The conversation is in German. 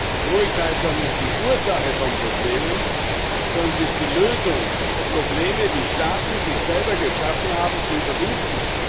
Die Troika ist doch nicht die Ursache von Problemen, sondern sie ist die Lösung, um Probleme, die Staaten selbst geschaffen haben, zu überwinden.